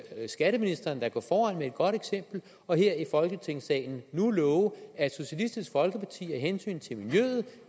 skatteministeren da gå foran med et godt eksempel og her i folketingssalen nu love at socialistisk folkeparti af hensyn til miljøet